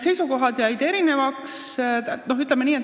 Seisukohad jäidki erinevaks.